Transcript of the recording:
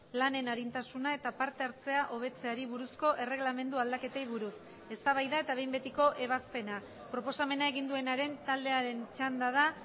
lanen arintasuna eta parte hartzea hobetzeari buruzko erregelamendu aldaketei buruz eztabaida eta behin betiko ebazpena proposamena egin duenaren taldearen txanda da